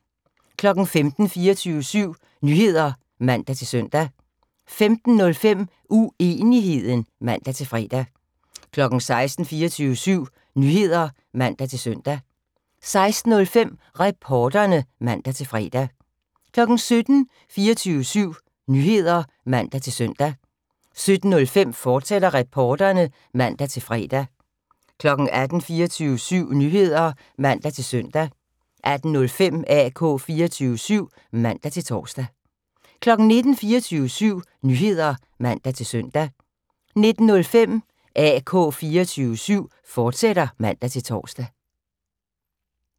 15:00: 24syv Nyheder (man-søn) 15:05: Uenigheden (man-fre) 16:00: 24syv Nyheder (man-søn) 16:05: Reporterne (man-fre) 17:00: 24syv Nyheder (man-søn) 17:05: Reporterne, fortsat (man-fre) 18:00: 24syv Nyheder (man-søn) 18:05: AK 24syv (man-tor) 19:00: 24syv Nyheder (man-søn) 19:05: AK 24syv, fortsat (man-tor)